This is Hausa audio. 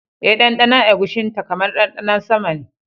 Eh, ɗanɗanon eguisinta kamar ɗanɗanon sama ne